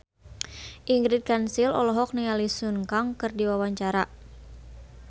Ingrid Kansil olohok ningali Sun Kang keur diwawancara